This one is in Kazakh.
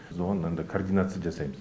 біз оған мынандай координация жасаймыз